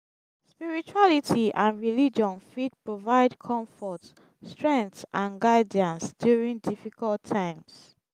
spirituality and religion fit provide comfort strength and guidance during difficult times.